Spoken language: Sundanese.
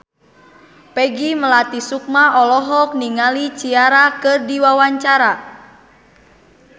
Peggy Melati Sukma olohok ningali Ciara keur diwawancara